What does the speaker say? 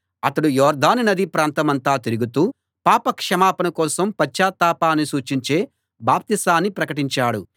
అతడు యొర్దాను నదీ ప్రాంతమంతా తిరుగుతూ పాపక్షమాపణ కోసం పశ్చాత్తాపాన్ని సూచించే బాప్తిసాన్ని ప్రకటించాడు